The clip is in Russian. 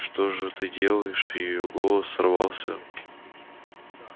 что же это ты делаешь её голос сорвался